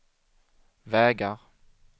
vägar